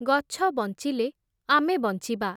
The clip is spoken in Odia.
ଗଛ ବଞ୍ଚିଲେ, ଆମେ ବଞ୍ଚିବା।